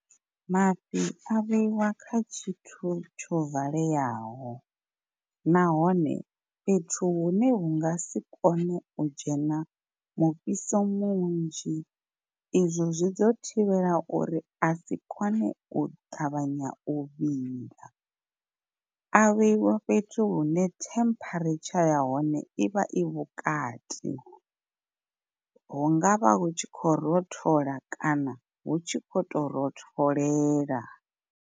Mafhi a vheiwa kha tshithu tsho valeyaho nahone fhethu hune hu nga si kone u dzhena mufhiso munzhi izwo zwi ḓo thivhela uri asi kone u ṱavhanya u vhila. A vheiwa fhethu hune temperature ya hone ivha i vhukati hungavha hu tshi khou rothola kana hu tshi kho to rotholela.